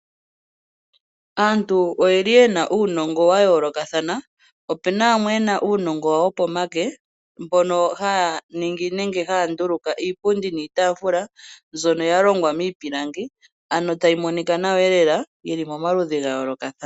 Aantu oye li yena uunongo wa yoolokathana ,ope na yamwe yena uunongo wopomake mbono haya ningi nenge haya ndulika iipundi niitaafula mbyono ya longwa miipilangi ano tayi monika nawa iyelela yili moma ludhi ga yoolokathana.